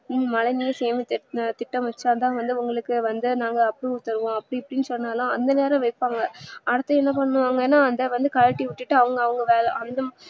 உம் மழைநீர் சேமிப்பு திட் திட்டமிட்டு உங்களுக்கு வந்து approved செய்வோம் அப்டி இப்டி சொன்னாலும் அந்த நேரம் வைப்பாங்க அடுத்து என்ன பண்ணுவாங்கனா அத வந்து கழட்டி விட்டுட்டு அவுங்க அவங்க வேல அந்த